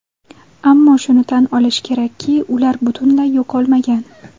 Ammo shuni tan olish kerakki, ular butunlay yo‘qolmagan.